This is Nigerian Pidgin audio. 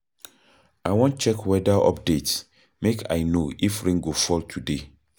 I wan check weather update make I know if rain go fall today.